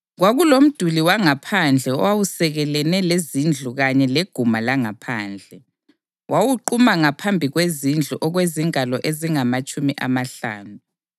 Kwakulomduli wangaphandle owawusekelene lezindlu kanye leguma langaphandle; wawuquma ngaphambi kwezindlu okwezingalo ezingamatshumi amahlanu.